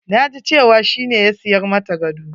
Na ji cewa shi ne ya siya mata gadon.